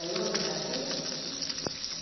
É longe daqui?